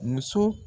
Muso